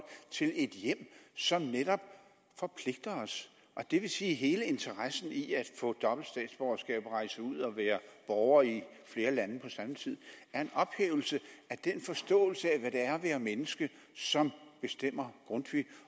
til et hjem som netop forpligter os og det vil sige at hele interessen i at få dobbelt statsborgerskab og rejse ud og være borger i flere lande på samme tid er en ophævelse af den forståelse af hvad det er at være menneske som bestemmer grundtvig